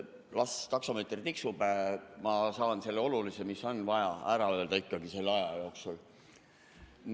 Las taksomeeter tiksub, ma saan selle olulise, mis on vaja öelda, ikka ära öelda selle aja jooksul.